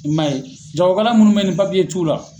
I man ye jagokɛla minnu bɛ ye ni t'u la